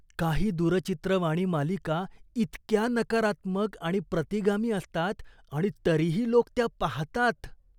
काही दूरचित्रवाणी मालिका इतक्या नकारात्मक आणि प्रतिगामी असतात आणि तरीही लोक त्या पाहतात.